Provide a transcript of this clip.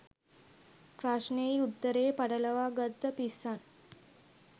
ප්‍රශ්නෙයි උත්තරෙයි පටලවා ගත්ත පිස්සන්.